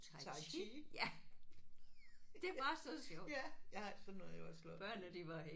Tai Chi. Ja jeg sådan noget har jeg også lavet